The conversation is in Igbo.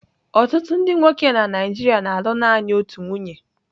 Ọtụtụ ndị nwoke na nigeria na-alụ naanị otu nwunye.